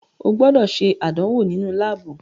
O gbọdọ ṣe àdánwò náà nínú laabu